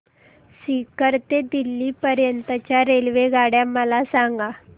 सीकर ते दिल्ली पर्यंत च्या रेल्वेगाड्या मला सांगा